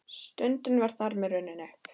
Stundin var þar með runnin upp.